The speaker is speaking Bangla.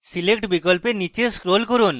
select বিকল্পে স্নীচে scroll করুন